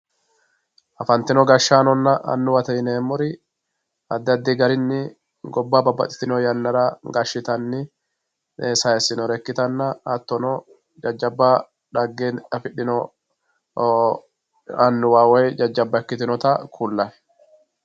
Afantino gashshaanonna annuwa yineemmori addi addi garinni gobba babbaxxitinori yannara gashshittani saysinore ikkittanna hattono jajjabba dhagge affidhino annuwa woyi jajjabba ikkitinotta ku'lanni.